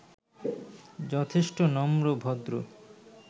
যথেষ্ট নম্র, ভদ্র